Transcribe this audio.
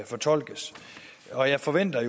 fortolkes og jeg forventer